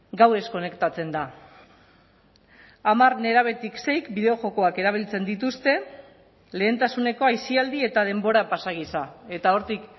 gauez konektatzen da hamar nerabetik seik bideo jokoak erabiltzen dituzte lehentasuneko aisialdi eta denbora pasa gisa eta hortik